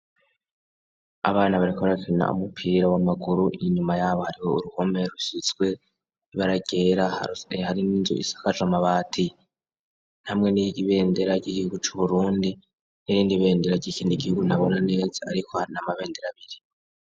Abana bariko barakina umupira wamaguru inyuma yabo Hari uruhome rusizwe ibara ryera harimwo Inzu isakajwe amabati hamwe nibendera ryigihugu cu Burundi hamwe nibendera ryigihugu ntabona neza ariko Hari Amabendera abiri.